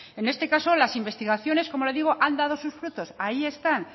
en este caso las investigaciones como le digo han dado sus frutos ahí están